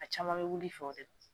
A caman bɛ wuli fɛ o de la.